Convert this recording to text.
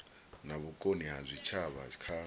na vhukoni ha zwitshavha kha